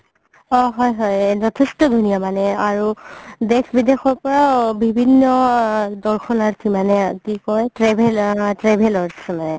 অ হয় হয় যথেষ্ট ধূনীয়া মানে আৰু দেশ বিদেশৰ পৰাও বিভিন্ন আ দৰ্শনাৰ্থী মানে কি কয় traveler অ travelers